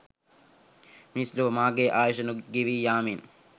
මිනිස් ලොව මගේ ආයුෂ ගෙවී යාමෙන්